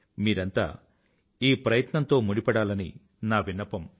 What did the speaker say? మీరంతా ఈ ప్రయత్నంతో ముడిపడాలని నా విన్నపం